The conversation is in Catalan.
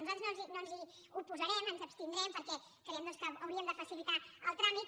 nosaltres no ens hi oposarem ens abstindrem perquè creiem doncs que hauríem de facilitar el tràmit